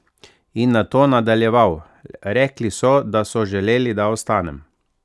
In nato nadaljeval: "Rekli so, da so želeli, da ostanem.